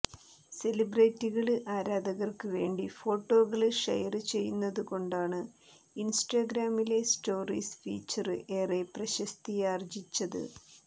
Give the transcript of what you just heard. സെലിബ്രിറ്റികള് ആരാധകര്ക്ക് വേണ്ടി ഫോട്ടോകള് ഷെയര് ചെയ്യുന്നതുകൊണ്ടാണ് ഇന്സ്റ്റഗ്രാമിലെ സ്റ്റോറീസ് ഫീച്ചര് ഏറെ പ്രശസ്തിയാര്ജ്ജിച്ചത്